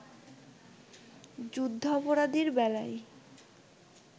যুদ্ধাপরাধীর বেলায়